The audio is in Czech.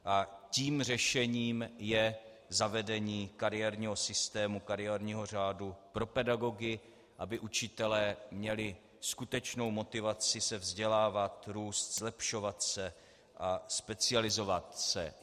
Tím řešením je zavedení kariérního systému, kariérního řádu pro pedagogy, aby učitelé měli skutečnou motivaci se vzdělávat, růst, zlepšovat se a specializovat se.